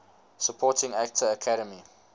supporting actor academy